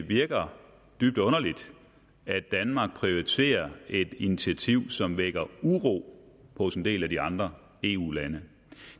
virker dybt underligt at danmark prioriterer et initiativ som vækker uro hos en del af de andre eu lande